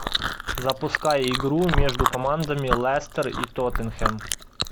запускай игру между командами лестер и тоттенхэм